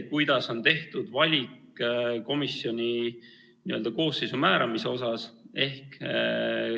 Kuidas on tehtud valik komisjoni koosseisu määramiseks?